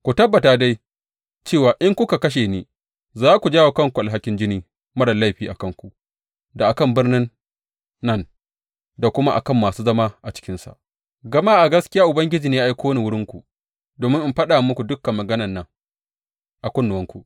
Ku tabbata dai, cewa in kuka kashe ni, za ku jawo wa kanku alhakin jini marar laifi a kanku da a kan birnin nan da kuma a kan masu zama a cikinsa, gama a gaskiya Ubangiji ne ya aiko ni wurinku domin in faɗa muku dukan maganan nan a kunnuwanku.